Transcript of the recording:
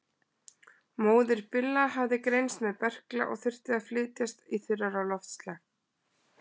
Móðir Billa hafði greinst með berkla og þurfti að flytjast í þurrara loftslag.